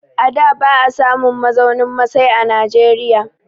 A da ba a samun mazaunin masai a Najeriya.